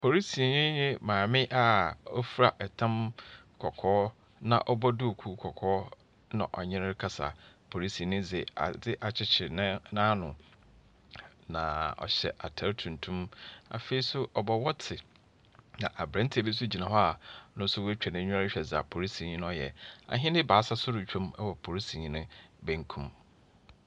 Polisinyi ne maame a ofira tam kɔkɔɔ na ɔbɔ duukuu kɔkɔɔ na ɔnye no rekasa. Polisinyi dze adze akyekyer ne n'ano. Na ɔhyɛ atar tuntum. Afei nso ɔbɔ wɔkye. Na aberanteɛ bi nso gyina hɔ a no nso woeetwa n'enyiwa rehwɛ dza polisinyi no reyɛ. Ahyɛn ebaasa nso retwan wɔ polisinyi ne benkum.